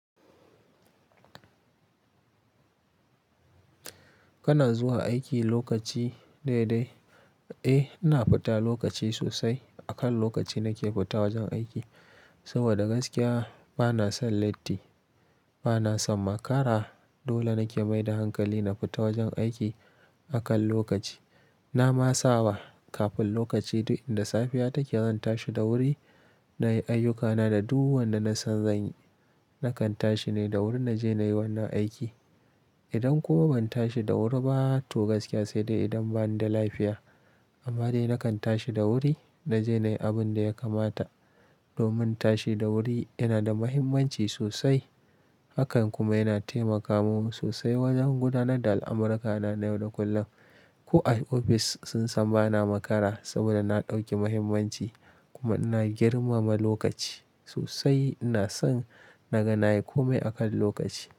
Kana zuwa aiki lokaci dai dai? Eh, ina fita lokaci sosai. Akan lokaci nake fita wajen aiki. Saboda gaskiya bana son latti, bana son makara. Dole nake maida hankali na fita wajen aiki akan lokaci. Na ma sawa kafin lokaci duk inda safiya take zanta shi da wuri, nayi ayyukana da duka wanda na son zanyi. Nakan tashi ne da wuri naje nayi wannan aiki. Idan kuma ban tashi da wuri ba, to gaskiya sai dai idan bani da lafiya. Amma dai nakan tashi da wuri naje nayi abin da ya kamata. Domin tashi da wuri yana da muhimmanci sosai. Hakan kuma yana taimaka mun sosai wajen gudanar da al'amurakana na yau da kullum. Ko a ofis sun san bana makara saboda na ɗauki muhimmanci kuma ina girmama lokaci sosai. Ina son naga nayi kome akan lokaci.